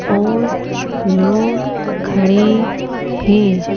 और लोग खड़े हैं।